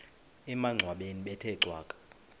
emangcwabeni bethe cwaka